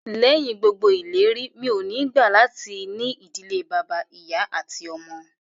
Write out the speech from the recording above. Lẹ́yìn gbogbo ìlérí, mi ò ní gbà latí ní ìdílé bàbá, ìyá àti àwọn ọmọ